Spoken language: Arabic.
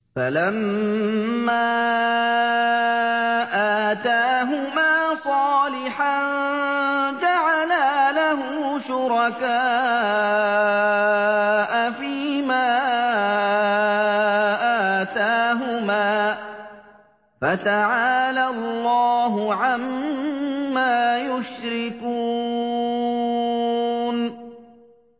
فَلَمَّا آتَاهُمَا صَالِحًا جَعَلَا لَهُ شُرَكَاءَ فِيمَا آتَاهُمَا ۚ فَتَعَالَى اللَّهُ عَمَّا يُشْرِكُونَ